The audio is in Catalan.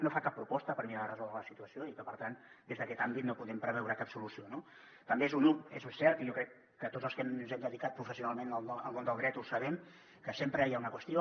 no fa cap proposta per mirar de resoldre la situació i per tant des d’aquest àmbit no podem preveure cap solució no també és cert i jo crec que tots els que ens hem dedicat professionalment al món del dret ho sabem que sempre hi ha una qüestió